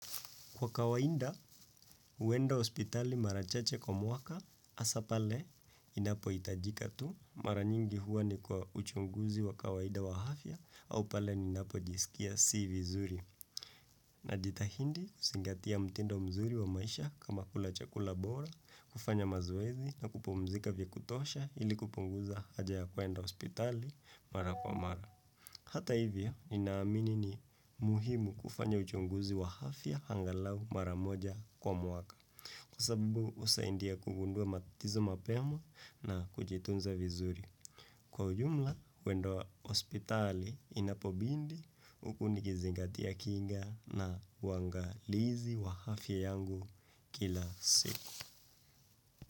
Kwa kawaida, huenda hospitali mara chache kwa mwaka, hasa pale, inapohitajika tu, mara nyingi huwa ni kwa uchunguzi wa kawaida wa afya, au pale, ninapojisikia si vizuri. Najitahidi, kuzingatia mtindo mzuri wa maisha kama kula chakula bora, kufanya mazoezi na kupumzika vya kutosha ili kupunguza haja ya kuenda hospitali mara kwa mara. Hata hivyo, ninaamini ni muhimu kufanya uchunguzi wa afya angalau maramoja kwa mwaka. Sababu, husaidia kugundua matatizo mapema na kujitunza vizuri. Kwa ujumla, kuenda hospitali inapobidi huku nikizingatia kinga na uwangalizi wa afya yangu kila siku.